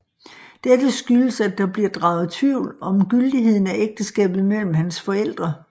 Dette skyldes at der bliver draget tvivl om gyldigheden af ægteskabet mellem hans forældre